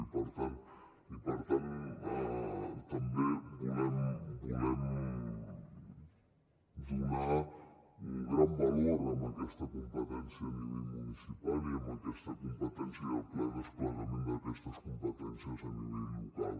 i per tant també volem donar un gran valor a aquesta competència a nivell municipal i a aquesta competència i al ple desplegament d’aquestes competències a nivell local